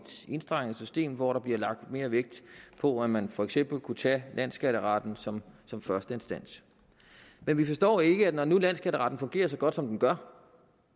enstrenget system hvor der bliver lagt mere vægt på at man for eksempel kunne tage landsskatteretten som som første instans men vi forstår ikke når nu landsskatteretten fungerer så godt som den gør